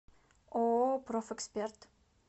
ооо профэксперт